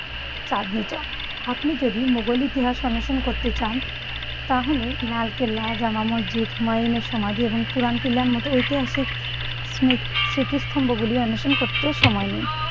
চাঁদনী চক। আপনি যদি মোঘল ইতিহাস অন্বেষণ করতে চান তাহলে লালকেল্লা, জামা মসজিদ, হুমায়ূনের সমাধি এবং পুরান কিল্লার মতো ঐতিহাসিক স্মি~ স্মৃতিস্তম্ভ গুলি অন্বেষণ করতে সময় নিন।